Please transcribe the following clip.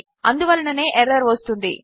అందువలననే error వస్తున్నది